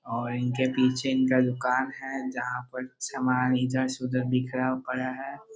और इनके पीछे इनका दूकान है जहाँ पर समान इधर से उधर बिखरा पड़ा है।